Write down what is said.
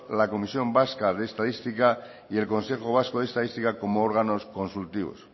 la comisión vasca de estadística y el consejo vasco de estadística como órganos consultivos